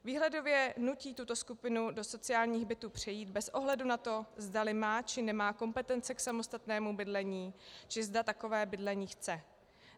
Výhledově nutí tuto skupinu do sociálních bytů přejít bez ohledu na to, zdali má, či nemá kompetence k samostatnému bydlení či zda takové bydlení chce.